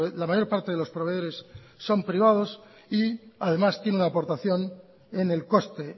la mayor parte de los proveedores son privados y además tiene una aportación en el coste